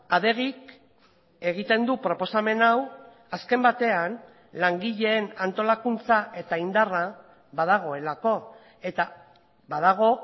adegik egiten du proposamen hau azken batean langileen antolakuntza eta indarra badagoelako eta badago